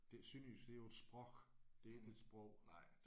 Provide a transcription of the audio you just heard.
Det sønderjysk det er jo et sprog det ikke et sprog